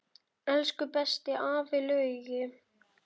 Elsku besti afi Laugi.